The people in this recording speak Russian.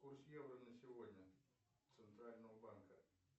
курс евро на сегодня центрального банка